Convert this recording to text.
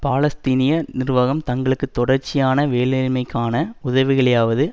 பாலஸ்தீனிய நிர்வாகம் தங்களுக்கு தொடர்ச்சியான வேலையின்மைக்கான உதவிகளையாவது